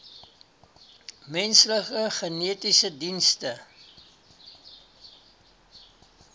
menslike genetiese dienste